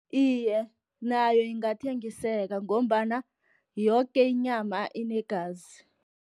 Iye, nayo ingathengiseka, ngombana yoke inyama inegazi.